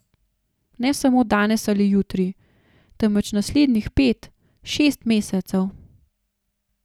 Ne samo danes ali jutri, temveč naslednjih pet, šest mesecev.